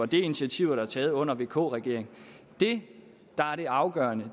det er initiativer der er taget under vk regeringen det der er det afgørende